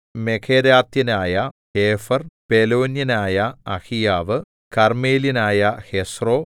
മെഖേരാത്യനായ ഹേഫെർ പെലോന്യനായ അഹീയാവ് കർമ്മേല്യനായ ഹെസ്രോ